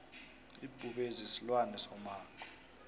ibhubezi silwane somango